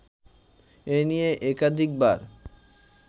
এ নিয়ে একাধিকবার